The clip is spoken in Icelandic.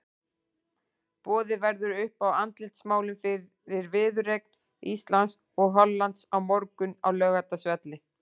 Boðið verður upp á andlitsmálun fyrir viðureign Íslands og Hollands á morgun á Laugardalsvelli.